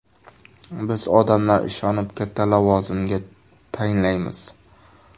Biz odamlar ishonib, katta lavozimga tayinlaymiz.